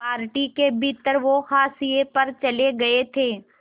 party के भीतर वो हाशिए पर चले गए थे